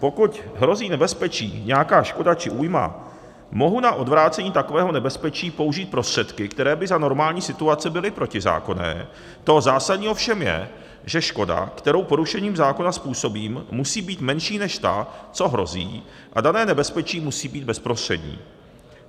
Pokud hrozí nebezpečí, nějaká škoda či újma, mohu na odvrácení takového nebezpečí použít prostředky, které by za normální situace byly protizákonné, to zásadní ovšem je, že škoda, kterou porušením zákona způsobím, musí být menší než ta, co hrozí, a dané nebezpečí musí být bezprostřední.